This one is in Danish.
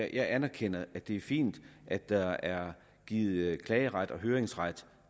jeg anerkender at det er fint at der er givet klageret og høringsret